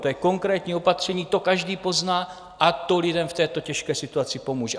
To je konkrétní opatření, to každý pozná a to lidem v této těžké situaci pomůže.